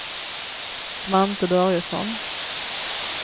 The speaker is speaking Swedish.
Svante Börjesson